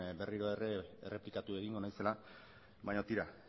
berriro ere errepikatuko naizela baina tira